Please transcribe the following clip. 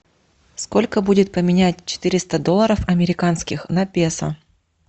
сколько будет поменять четыреста долларов американских на песо